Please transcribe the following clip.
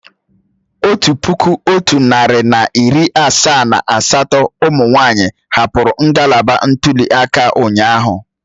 Otu puku otu narị na iri asaa na asatọ umunwaanyi hapụrụ ngalaba ntuli aka ụnyahụ